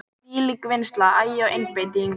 Þvílík vinnsla, agi og einbeiting.